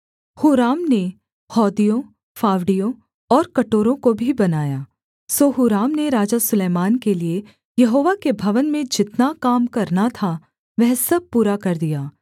हूराम ने हौदियों फावड़ियों और कटोरों को भी बनाया सो हूराम ने राजा सुलैमान के लिये यहोवा के भवन में जितना काम करना था वह सब पूरा कर दिया